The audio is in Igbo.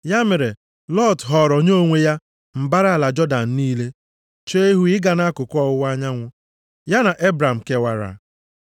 Ya mere, Lọt họọrọ nye onwe ya mbara ala Jọdan niile, chee ihu ịga nʼakụkụ ọwụwa anyanwụ. Ya na Ebram kewara.